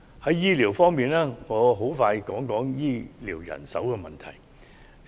在醫療方面，我想略談醫療人手問題。